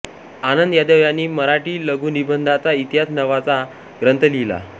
आनंद यादव यांनी मराठी लघुनिबंधाचा इतिहास नावाचा ग्रंथ लिहिला आहे